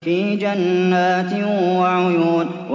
فِي جَنَّاتٍ وَعُيُونٍ